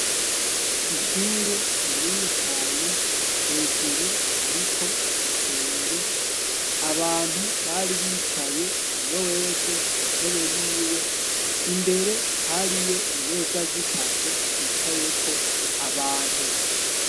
Ishure ri nini cane hejuru hariko igisenge abantu bari bicaye umwe wese ku ntebe yiwe imbere hari yo imeza zitatu zicayeko abantu.